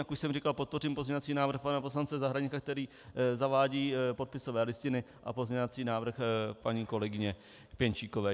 Jak už jsem říkal, podpořím pozměňovací návrh pana poslance Zahradníka, který zavádí podpisové listiny, a pozměňovací návrh paní kolegyně Pěnčíkové.